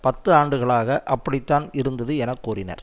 பத்து ஆண்டுகளாக அப்படித்தான் இருந்தது என கூறினர்